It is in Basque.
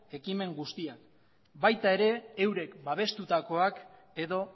ekimen guztia baita eurek babestutakoak edo